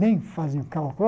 Nem fazem cálculo.